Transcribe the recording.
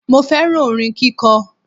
Mo féràn orin kíko